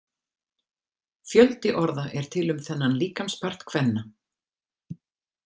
Fjöldi orða er til um þennan líkamspart kvenna.